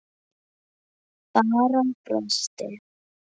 Bara brosti.